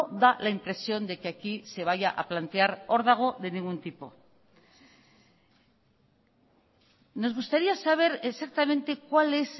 da la impresión de que aquí se vaya a plantear órdago de ningún tipo nos gustaría saber exactamente cuál es